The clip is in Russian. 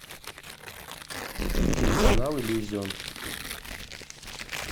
телеканал иллюзион